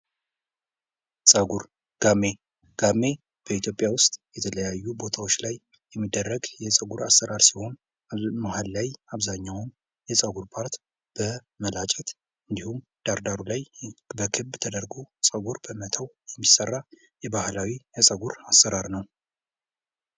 ጸጉር ጋሜ ጋሜ በኢትዮጵያ ውስጥ የተለያዩ ቦታወች ላይ የሚደረግ የጸጉር አሰራር ሲሆን መሃል ላይ አብዛኛውን የጸጉር ፓርት በመላጨት እንዲሁም ዳርዳሩ ላይ በክብ ተደርጎ ጸጉር በመተው የሚሰራ ባህላዊ የጸጉር አሰራር ነው።